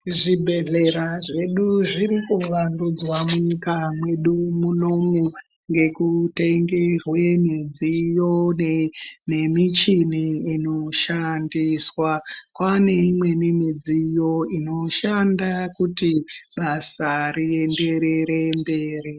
Zvibhedhlera zvedu zvirikuvandudzwa munyika medu munomu, ngekutenge zvemidziyo nemichini inoshandiswa. Kwaneyimweni midziyo inoshanda kuti basa riyenderere mberi.